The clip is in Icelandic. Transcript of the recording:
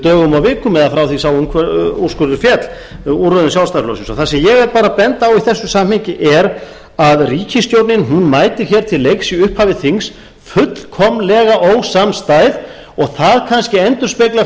dögum og vikum eða frá því að sá úrskurður féll úr röðum sjálfstæðisflokksins og það sem ég er að benda á í þessu sambandi er að ríkisstjórnin mætir til leiks í upphafi þings fullkomlega ósamstæð og það kannski endurspeglar